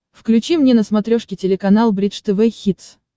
включи мне на смотрешке телеканал бридж тв хитс